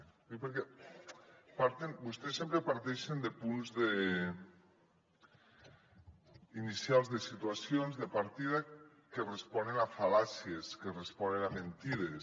ho dic perquè vostès sempre parteixen de punts inicials de situacions de partida que responen a fal·làcies que responen a mentides